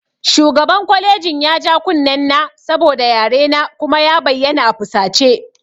Shugaban kwalejin ya ja kunnen na saboda yarena kuma ya bayyana a fusace